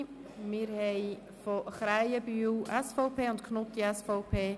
Wir haben einen Nichteintretensantrag der Grossräte Krähenbühl und Knutti von der SVP.